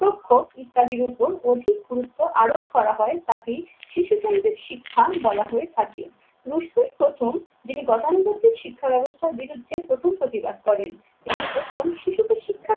প্রখ ইত্যাদির উপর অধিক গুরুত্ব আরোপ করা হয় তাকেই শিশুকেন্দ্রীক শিক্ষা বলা হয়ে থাকে। রশ্মির প্রথম যিনি গতানুগতিক শিক্ষা ব্যাবস্থার বিরুদ্ধে প্রথম প্রতিবাদ করেন তিনি প্রথম শিশুকে শিক্ষার